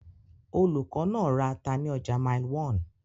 Olùkọ́ náà ra ata ní ọjà Mile 1.